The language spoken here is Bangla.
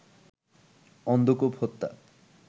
অন্ধকূপ হত্যা